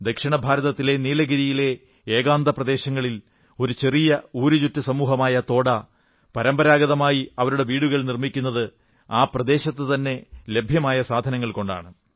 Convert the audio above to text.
ദക്ഷിണഭാരതത്തിലെ നീലഗിരിയിലെ ഏകാന്ത പ്രദേശങ്ങളിൽ ഒരു ചെറിയ ഊരുചുറ്റു സമൂഹമായ തോഡാ പരമ്പരാഗതമായി അവരുടെ വീടുകൾ നിർമ്മിക്കുന്നത് ആ പ്രദേശത്തുതന്നെ ലഭ്യമായ സാധനങ്ങൾ കൊണ്ടാണ്